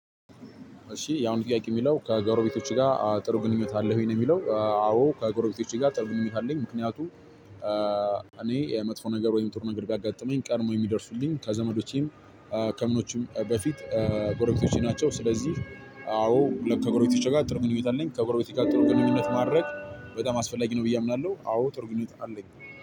እሺ የአሁኑ ጥያቄ የሚለው ከጎረቤቶችህ ጋር ጥሩ ግንኙነት አለህ ወይ ነው? የሚለው አዎ ከጎረቤቶቼ ጋር ጥሩ ግንኙነት አለኝ። ምክንያቱም እኔ መጥፎ ነገር ወይም ጥሩ ነገር ቢያጋጥመኝ ቀድመው የሚደርሱልኝ ከዘመዶቼም ከምኖቼም በፊት ጎረቤቶቼ ናቸው። ስለዚህ አዎ ለከጎረቤቶቼ ጋር ጥሩ ግንኙነት አለኝ ከጎረቤቶቼ ጋር ጥሩ ግንኙነት ማድረግ በጣም አስፈላጊ ነው። ብዬ አምናለሁ አዎ ጥሩ ግንኙነት አለኝ።